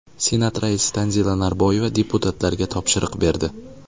Senat raisi Tanzila Norboyeva deputatlarga topshiriq berdi.